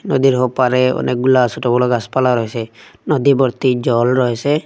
নদীর ওপারে অনেকগুলা ছোট বড় গাসপালা রয়েসে নদী বর্তি জল রয়েসে।